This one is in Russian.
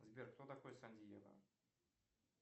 сбер кто такой сан диего